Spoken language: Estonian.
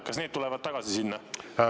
Kas need tulevad tagasi sinna?